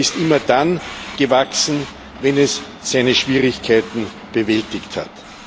Europa ist immer dann gewachsen, wenn es seine Schwierigkeiten bewältigt hat.